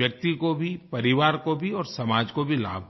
व्यक्ति को भी परिवार को भी और समाज को भी लाभ होगा